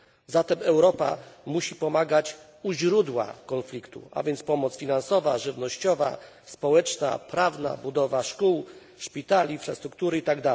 Zatem Europa musi pomagać u źródła konfliktu, a więc świadczyć pomoc finansową, żywnościową, społeczną, prawną, pomoc w budowie szkół, szpitali, infrastruktury itd.